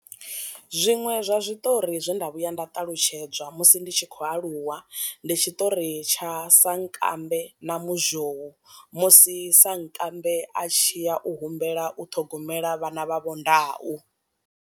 Zwiṅwe zwa zwiṱori zwe nda vhuya nda ṱalutshedzwa musi ndi tshi khou aluwa, ndi tshiṱori tsha sankambe na muzhou musi sankambe a tshiya u humbela u ṱhogomela vhana vha vho ndau.